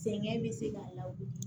Sɛgɛn bɛ se k'a la